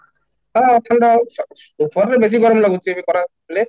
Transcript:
ହଁ ସେଇଟା ହୋଉଛି, ଗରମ ରେ ବେଶୀ ଲାଗୁଛି ଖରା ହେଲେ